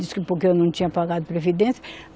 Diz que porque eu não tinha pagado previdência.